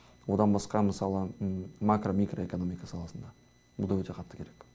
одан басқа мысалы макро микроэкономика саласында бұл да өте қатты керек